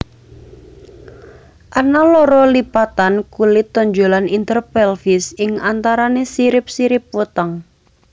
Ana loro lipatan kulit tonjolan interpelvis ing antarané sirip sirip weteng